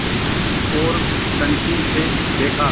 ओर कनखी से देखा